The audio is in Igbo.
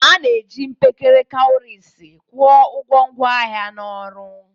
A na-eji mkekere kawurisi kwụọ ụgwọ ngwaahịa na ọrụ.